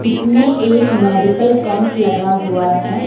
इसमें एक medical camp लगा हुआ है।